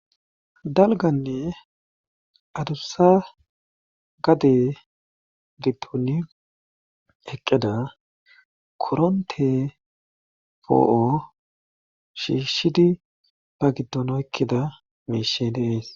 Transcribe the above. dalganne adussa gade ditoni eqqeda koronte poo7o shiishshidi ba giddonoykkeda meeshe deees